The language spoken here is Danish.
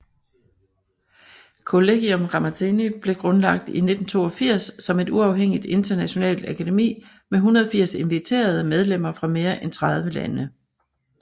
Collegium Ramazzini blev grundlagt i 1982 som et uafhængigt internationalt akademi med 180 inviterede medlemmer fra mere end 30 lande